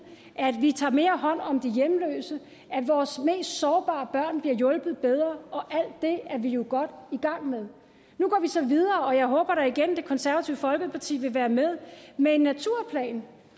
at vi tager mere hånd om de hjemløse at vores mest sårbare børn bliver hjulpet bedre og alt det er vi jo godt i gang med nu går vi så videre og jeg håber da igen det konservative folkeparti vil være med med en naturplan